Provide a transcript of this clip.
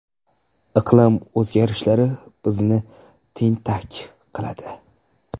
Iqlim o‘zgarishlari bizni tentak qiladi.